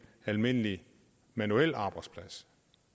almindelig manuel arbejdsplads